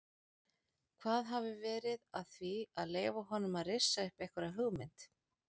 Hvað hafi verið að því að leyfa honum að rissa upp einhverja hugmynd?